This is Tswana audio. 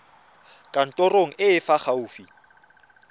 kantorong e e fa gaufi